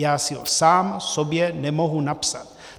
Já si ho sám sobě nemohu napsat.